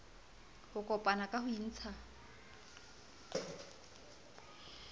ho kopana ka ho intsha